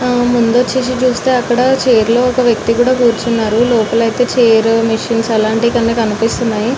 హ్హ మూడు వచేసి చూసి చైర్స్ అండ్ మిషన్ కనిపెస్తునది మనకు ఇక్కడ టీ హౌస్ కూడా కనిపెస్తునది మనకు ల్కనిఒఎస్త్గునది